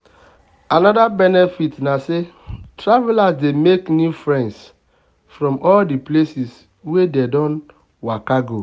another benefit na say travelers dey make new friends from all the places wey dem don waka go.